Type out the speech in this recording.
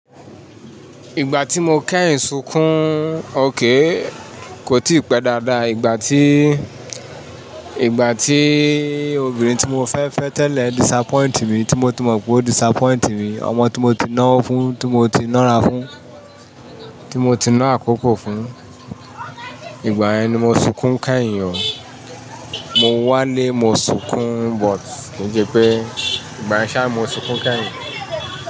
Ìgbà tí mo kẹ́yìn sunkún, okay kò tí pẹ́ dáadáa. Ìgbà tí, ìgbà tí obìnrin tí mo fẹ́ fẹ́ tẹ́lẹ̀ disappoint mí, tí mọ ti mọ pé ó disappoint mí, ọmọ tí mọ ti náwó fún, tí mọ ti nára fún, tí mo ti náá àkókò fún, ìgbà ẹni mo sunkún kẹ́yìn. Mọ wà ní mọ sunkún but kín sèpè, ìgbà yen ṣáà mo sunkún kẹ́yìn.